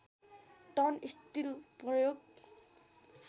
ton steel प्रयोग